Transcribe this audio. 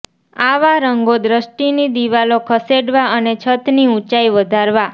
આવા રંગો દૃષ્ટિની દિવાલો ખસેડવા અને છત ની ઊંચાઇ વધારવા